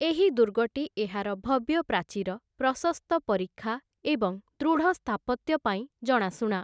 ଏହି ଦୁର୍ଗଟି ଏହାର ଭବ୍ୟ ପ୍ରାଚୀର, ପ୍ରଶସ୍ତ ପରିଖା ଏବଂ ଦୃଢ଼ ସ୍ଥାପତ୍ୟ ପାଇଁ ଜଣାଶୁଣା ।